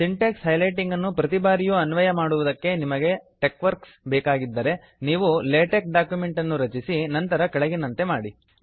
Sintex highlighting ಅನ್ನು ಪ್ರತಿ ಬಾರಿಯು ಅನ್ವಯ ಮಾಡುವುದಕ್ಕೆ ನಿಮಗೆ ಟೆಕ್ವರ್ಕ್ ಬೇಕಾಗಿದ್ದರೆ ನೀವು ಲೇಟೆಕ್ ಡಾಕ್ಯುಮೆಂಟ್ ಅನ್ನು ರಚಿಸಿ ನಂತರ ಕೆಳಗಿನಂತೆ ಮಾಡಿ